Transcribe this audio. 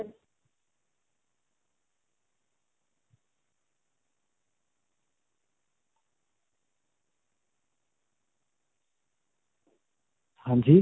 ਹਾਂਜੀ?